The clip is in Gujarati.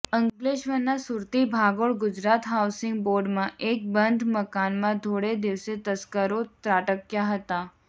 અંકલેશ્વરના સુરતી ભાગોળ ગુજરાત હાઉસીંગ બોર્ડમાં એક બંધ મકાનમાં ધોળે દિવસે તસ્કરો ત્રાટક્યા હતા